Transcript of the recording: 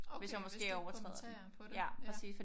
Okay hvis du kommenterer på det ja